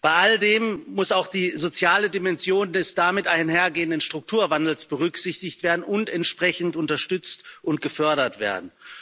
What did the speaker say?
Bei all dem muss auch die soziale Dimension des damit einhergehenden Strukturwandels berücksichtigt und entsprechend unterstützt und gefördert werden.